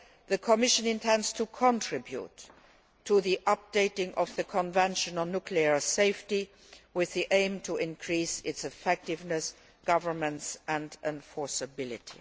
The Commission intends to contribute to the updating of the Convention on Nuclear Safety with the aim of increasing its effectiveness, governance and enforceability.